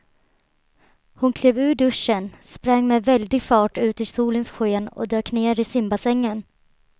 Hon klev ur duschen, sprang med väldig fart ut i solens sken och dök ner i simbassängen.